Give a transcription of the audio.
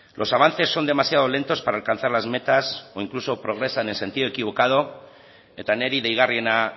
los avances son demasiado lentos para alcanzar las metas incluso progresan en sentido equivocado eta niri deigarriena